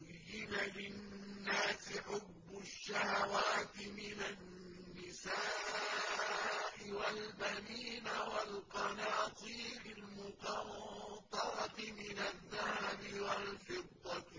زُيِّنَ لِلنَّاسِ حُبُّ الشَّهَوَاتِ مِنَ النِّسَاءِ وَالْبَنِينَ وَالْقَنَاطِيرِ الْمُقَنطَرَةِ مِنَ الذَّهَبِ وَالْفِضَّةِ